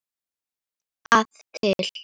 að til.